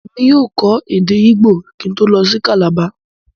Èmi yóò kò èdè Igbó kín ń tó lọ si Calabar.